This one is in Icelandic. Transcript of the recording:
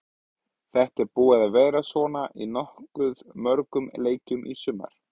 Þetta er búið að vera svona í nokkuð mörgum leikjum í sumar.